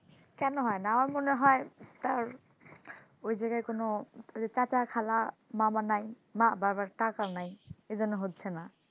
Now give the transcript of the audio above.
কেন হয়না আমার মনে হয় তার ওই জায়গায় চাচা, খালা, মামাও নাই বার বার টাকাও নাই এজন্য হচ্ছে না,